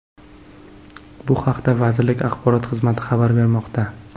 Bu haqda vazirlik axborot xizmati xabar bermoqda .